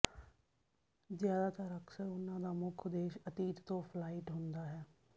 ਜ਼ਿਆਦਾਤਰ ਅਕਸਰ ਉਹਨਾਂ ਦਾ ਮੁੱਖ ਉਦੇਸ਼ ਅਤੀਤ ਤੋਂ ਫਲਾਈਟ ਹੁੰਦਾ ਹੈ